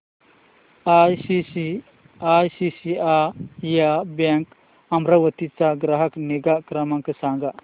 ICICI bank Amravati चा ग्राहक निगा क्रमांक सांगा